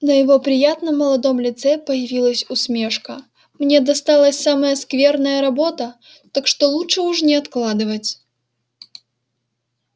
на его приятном молодом лице появилась усмешка мне досталась самая скверная работа так что лучше уж не откладывать